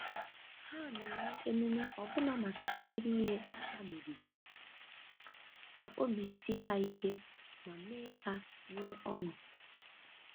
Ha na-eme emume ọbụna maka obere ihe ha meriri, ka obi sie ha ike ma mee ha nwee ọṅụ.